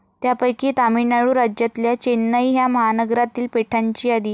त्यापैकी तामिळनाडू राज्यातल्या चेन्नई ह्या महानगरातील पेठांची यादी.